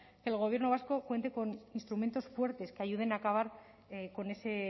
que el gobierno vasco cuente con instrumentos fuertes que ayuden a acabar con ese